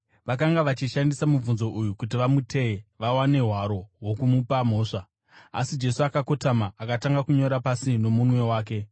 Vakanga vachishandisa mubvunzo uyu kuti vamuteye, vawane hwaro hwokumupa mhosva. Asi Jesu akakotama akatanga kunyora pasi nomunwe wake.